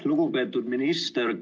Lugupeetud minister!